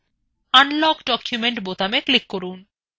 unlock document বোতামে click করুন